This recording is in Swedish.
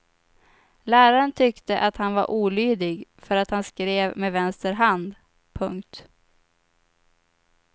Läraren tyckte att han var olydig för att han skrev med vänster hand. punkt